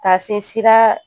Taa sin sera